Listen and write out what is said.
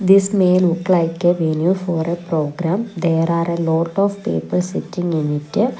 this may look like a venue for a program there are a lot of people sitting in it.